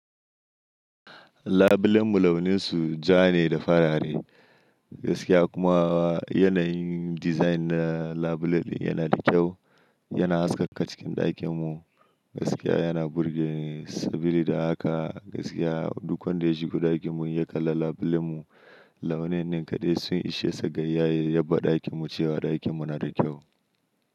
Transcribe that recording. Labulan mu launin su ja ne da farare. Gaskiya kuma yanayin design na labulen yana da kyau, yana haskaka cikin ɗakin mu. Gaskiya yana burge ni. Saboda haka gaskiya duk wanda ya shigo ɗakin mu ya kalli labulen mu, launin nin kaɗai sun ishe sa ga ya faɗa ɗakin mu cewa ɗakin mu yana da kyau.